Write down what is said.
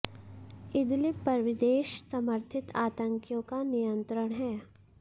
Idlib पर विदेश समर्थित आतंकियों का नियंत्रण है